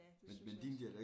Ja det synes jeg også